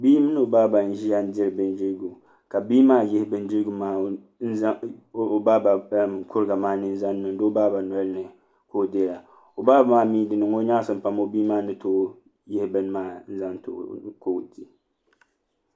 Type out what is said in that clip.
Bia mini i baaba n ʒiya diri bindirigu ka bia yihi bindirigu maa o baaba kuriga maa ni n zaŋ niŋdi o baaba nolini ka o dira o baaba maa mii di niŋo nyaɣasim pam o bia maa ni too yihi bini maa n zaŋ too ka o di